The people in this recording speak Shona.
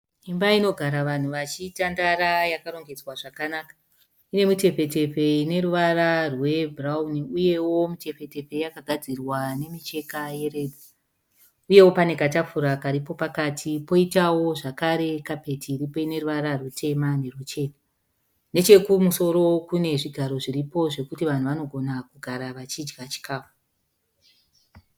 Imba inogara vanhu vachitandara yakarongedzwa zvakanaka. Inemutefetefe ineruvara rwebhurauni, iyewo mitefetefe yakagadzirwa nemicheka yeredhi. Uyewo pane katafura karipo pakati, poitawo zvakare kapeti iripo ineruvara rutsvuku neruchena. Nechokumusoro kune zvigaro zviripo zvekuti vanhu vanogona kugara vachidya chikafu.